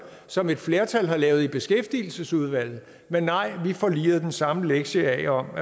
som et flertal har lavet i beskæftigelsesudvalget men nej vi får liret den samme lektie af om